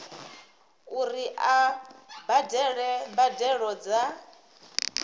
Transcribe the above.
uri a badele mbadelo dza